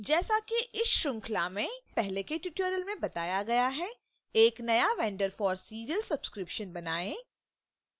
जैसा कि इस श्रृंखला में पहले के tutorial में बताया गया है एक नया vendor for serials subscription बनाएं